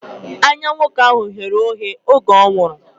Anya nwoke ahụ ghere oghe oge ọ nwụrụ